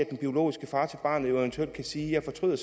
den biologiske far til barnet jo eventuelt kan sige jeg fortryder